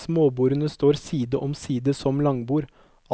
Småbordene står side om side som langbord,